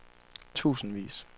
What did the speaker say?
tusindvis